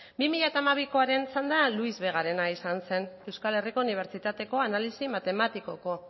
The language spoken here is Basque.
bi mila hamabikoaren txanda luis vegarena izan zen euskal herriko unibertsitateko analisi matematikoko